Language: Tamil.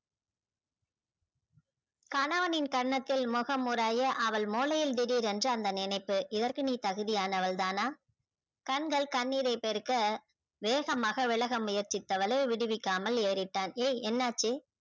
கணவனின் கன்னத்தில் முகம் அவள் மூலையில் திடீர் என்று அந்த நினைப்பு இவருக்கு நீ தகுதி ஆனவள் தான கண்கள் கண்ணீரை பெருக்க வேகமாக விலக முயற்சித்தவளை விடுவிக்காமல் ஏறிட்டான் ஏய் என்னாச்சி